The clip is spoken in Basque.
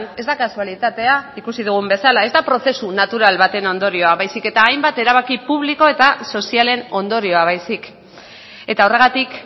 ez da kasualitatea ikusi dugun bezala ez da prozesu natural baten ondorioa baizik eta hainbat erabaki publiko eta sozialen ondorioa baizik eta horregatik